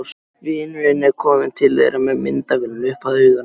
Vinurinn er kominn til þeirra með myndavélina upp að auganu.